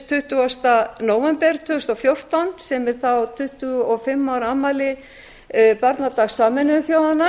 tuttugasta nóvember tvö þúsund og fjórtán sem er þá tuttugu og fimm ára afmæli b barnadags sameinuðu þjóðanna